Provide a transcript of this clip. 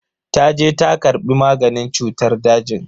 Taje ta karbi maganin cutar dajin.